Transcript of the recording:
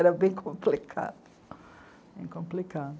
Era bem complicado, bem complicado.